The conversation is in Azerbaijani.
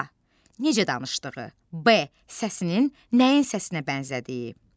A. necə danışdığı, B. səsinin nəyin səsinə bənzədiyi.